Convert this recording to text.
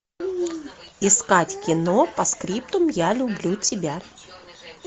искать кино постскриптум я люблю тебя